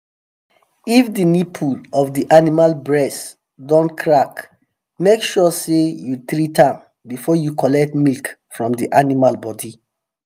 if the nipple of the animal breast don crack make sure say you treat am before you collect milk from the animal body